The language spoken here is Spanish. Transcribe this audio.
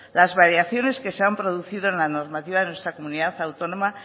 las variaciones que se han producido en la normativa de nuestra comunidad autónoma